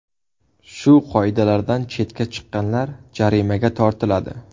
Shu qoidalardan chetga chiqqanlar jarimaga tortiladi.